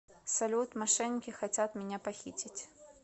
салют мошенники хотят меня похитить